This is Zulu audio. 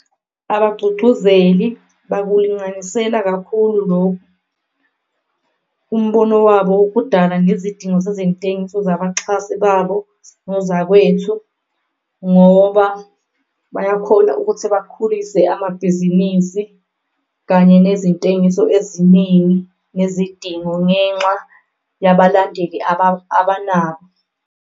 Abagcugcuzeli bakulinganisela kakhulu lokhu umbono wabo ukudala ngezidingo zezentengiso zabaxhasi babo nozakwethu, ngoba bayakhona ukuthi bakhulise amabhizinisi kanye nezintengiso eziningi nezidingo ngenxa yabalandeli abanabo.